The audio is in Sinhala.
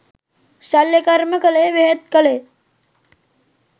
ශල්‍යකර්ම කළේ බෙහෙත් කළේ